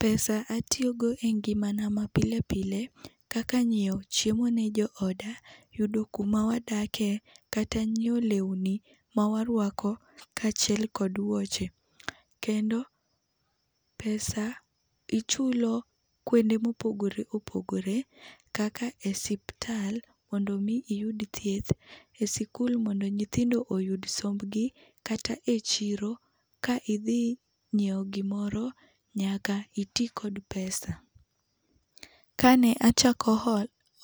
pesa atiyo godo e ngima na ma pile pile kaka : nyiewo chiemo ne jooda, yudo kuma wadake kata nyiewo lewni ma warwako kaachiel kod wuoche. Kendo pesa ichulo kuonde mopogore opogore kaka e osiptal mondo mi iyud thieth , e sikul mondo nyithindo oyud sombgi kata e chiro ka idhi nyiewo gimoro nyaka iti kod pesa. Kane achako